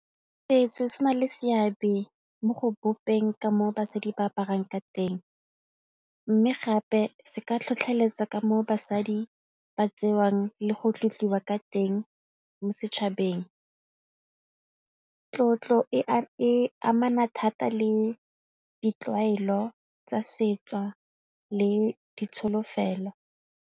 Setso se na le seabe mo go bopeng ka moo basadi ba aparang ka teng mme gape se ka tlhotlheletsa ka moo basadi ba tseiwang le go tlotliwa ka teng mo setšhabeng ka tlotlo e e amana thata le ditlwaelo tsa setso le ditsholofelo.